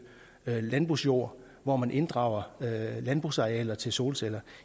landbrugsjord og hvor man inddrager landbrugsarealer til solceller